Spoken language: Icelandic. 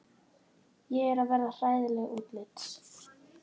Ég er að verða hræðileg útlits.